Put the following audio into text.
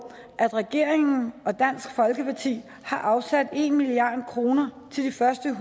at regeringen og dansk folkeparti har afsat en milliard kroner til de første